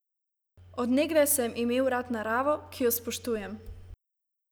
Od nekdaj sem imel rad naravo, ki jo spoštujem.